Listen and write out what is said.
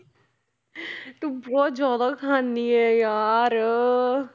ਤੂੰ ਬਹੁਤ ਜ਼ਿਆਦਾ ਖਾਂਦੀ ਹੈ ਯਾਰ